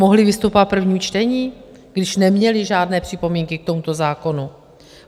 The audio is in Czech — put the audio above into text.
Mohli vystupovat v prvním čtení, když neměli žádné připomínky k tomuto zákonu?